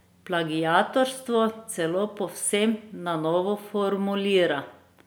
Plagiatorstvo celo povsem na novo formulira.